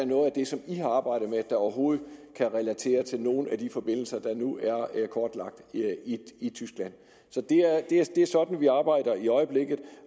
noget af det som i har arbejdet med der overhovedet kan relateres til nogen af de forbindelser der nu er kortlagt i tyskland så det er sådan vi arbejder i øjeblikket